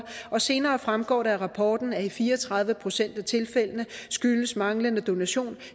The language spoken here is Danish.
og senere fremgår det af rapporten at i fire og tredive procent af tilfældene skyldes manglende donation